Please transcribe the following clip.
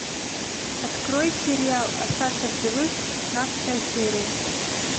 открой сериал остаться в живых шестнадцатая серия